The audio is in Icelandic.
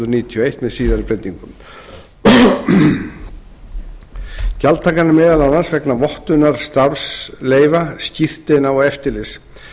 eitt með síðari breytingum gjaldtakan er meðal annars vegna vottunar starfsleyfa skírteina og eftirlits